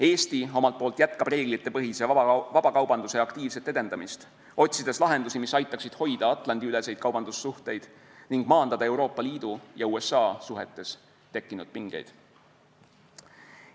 Eesti omalt poolt jätkab reeglitepõhise vabakaubanduse aktiivset edendamist, otsides lahendusi, mis aitaksid hoida Atlandi-üleseid kaubandussuhteid ning maandada Euroopa Liidu ja USA suhetes tekkinud pingeid.